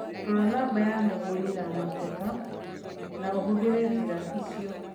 Rora namba ya mũgũri na mateta na ũhũthĩre njĩra ĩcio